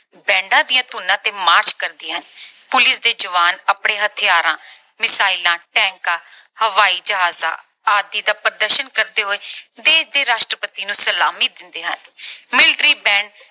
bands ਦੀਆਂ ਧੁਨੀਆਂ ਤੇ march ਕਰਦੀਆਂ ਹਨ। Police ਦੇ ਜਵਾਨ ਆਪਣੇ ਹਥਿਆਰਾਂ, missile, tanks ਹਵਾਈ ਜਹਾਜਾਂ ਆਦਿ ਦਾ ਪ੍ਰਦਰਸ਼ਨ ਕਰਦੇ ਹੋਏ ਦੇਸ਼ ਦੇ ਰਾਸ਼ਟਰਪਤੀ ਨੂੰ ਸਲਾਮੀ ਦਿੰਦੇ ਹਨ। military band